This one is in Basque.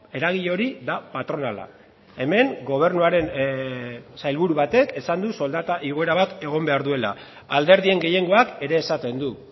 eragile hori da patronala hemen gobernuaren sailburu batek esan du soldata igoera bat egon behar duela alderdien gehiengoak ere esaten du